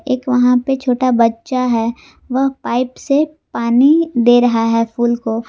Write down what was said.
एक वहां पे छोटा बच्चा है वह पाइप से पानी दे रहा है फूल को।